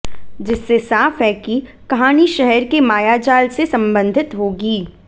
जिससे साफ है कि कहानी शहर के मायाजाल से संबंधित होगी